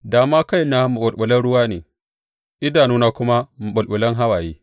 Da ma kaina maɓulɓulan ruwa ne idanuna kuma maɓulɓulan hawaye!